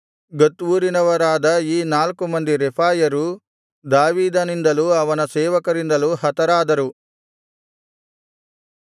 ಗತ್ ಊರಿನವರಾದ ಈ ನಾಲ್ಕು ಮಂದಿ ರೆಫಾಯರೂ ದಾವೀದನಿಂದಲೂ ಅವನ ಸೇವಕರಿಂದಲೂ ಹತರಾದರು